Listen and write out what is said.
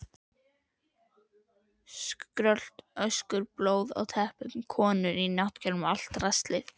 Skrölt, öskur, blóð á teppunum, konur á náttkjólum, allt draslið.